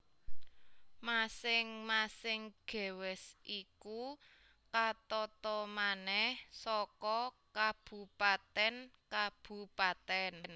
Masing masing gewest iku katata manèh saka kabupatèn kabupatèn